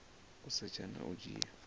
u setsha na u dzhia